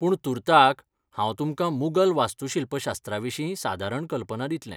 पूण तुर्ताक, हांव तुमकां मुगल वास्तूशिल्पशास्त्राविशीं सादारण कल्पना दितलें.